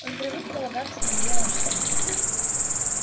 он привык полагаться на нее во всем